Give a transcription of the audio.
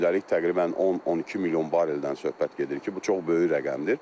Gündəlik təqribən 10-12 milyon bareldən söhbət gedir ki, bu çox böyük rəqəmdir.